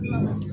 Naamu